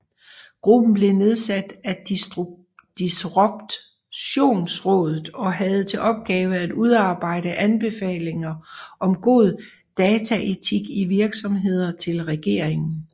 Gruppen blev nedsat af Disruptionrådet og havde til opgave at udarbejde anbefalinger om god dataetik i virksomheder til regeringen